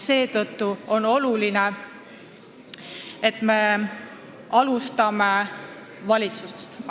Seetõttu on oluline, et me alustame valitsusest.